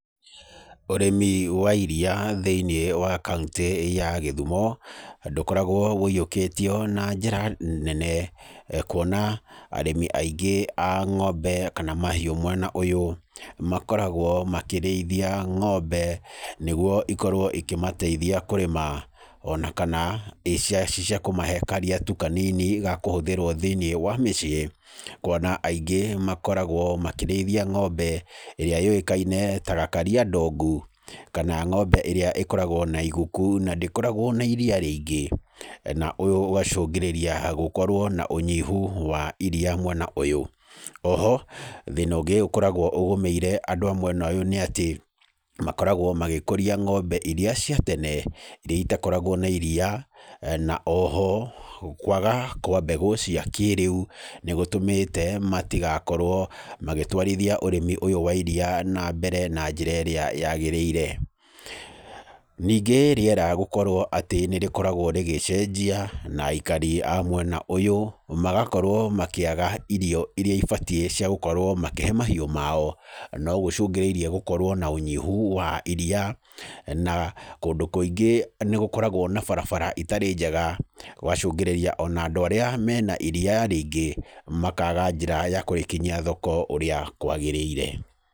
Ũrĩmi wa iriia thĩiniĩ wa kauntĩ ya Gĩthumo, ndũkoragwo woiyũkĩtio na njĩra nene. Kuona arĩmi aingĩ a ng'ombe kana mahiũ mwena ũyũ, makoragwo makĩrĩithia ng'ombe, nĩguo ikorwo ikĩmateithia kũrĩma. Ona kana ci cia kũmahe karia tu kanini ga kũhũthĩrwo thĩiniĩ wa mĩciĩ. Kuona aingĩ makoragwo makĩrĩithia ng'ombe, ĩrĩa yũĩkaine ta gakaria ndongu kana ng'ombe ĩrĩa ĩkoragwo na iguku na ndĩkoragwo na iria rĩingĩ. Na ũyũ ũgacũngĩrĩria gũkorwo na ũnyihu wa iria mwena ũyũ. Oho, thĩna ũngĩ ũkoragwo ũgũmĩire andũ a mwena ũyũ nĩ atĩ, makoragwo magĩkũria ng'ombe irĩa cia tene, irĩa itakoragwo na iria, na oho, kwaga kwa mbegũ cia kĩrĩu, nĩ gũtũmĩte matigakorwo magĩtwarithia ũrĩmi ũyũ wa iria na mbere na njĩra ĩrĩa yagĩrĩire. Ningĩ rĩera gũkorwo atĩ nĩ rĩkoragwo rĩgĩcenjia, na aikari a mwena ũyũ, magakorwo makĩaga irio irĩa ibatiĩ cia gũkorwo makĩhe mahiũ mao, no gũcũngĩrĩirie gũkorwo na ũnyihu wa iria. Na kũndũ kũingĩ nĩ gũkoragwo na barabara itarĩ njega, gũgacũngĩrĩria ona andũ arĩa mena iria rĩingĩ, makaga njĩra ya kũrĩkinyia thoko ũrĩa kwagĩrĩire.